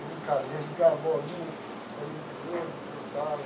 Brincadeira, jogar bolinha, bolinha de gude que eles fala.